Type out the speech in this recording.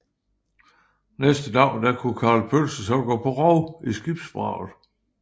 Næste dag kunne Karl Pølse så gå på rov i skibsvraget